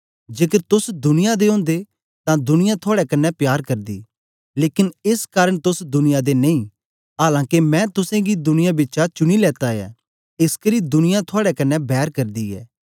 जेकर तोस दुनिया दे ओदे तां दुनिया अपने कन्ने प्यार करदी लेकन एस कारन तोस दुनिया दे नेई आलां के मैं तुसेंगी दुनिया बिचा चुनी लेता ऐ एसकरी दुनिया थुआड़े कन्ने बैर करदी ऐ